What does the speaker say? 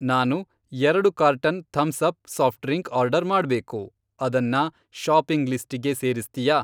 ನಾನು ಎರಡು carton Thums Up soft drink order ಮಾಡ್ಬೇಕು, ಅದನ್ನ ಷಾಪಿಂಗ್ ಲಿಸ್ಟಿಗೆ ಸೇರಿಸ್ತ್ಯಾ?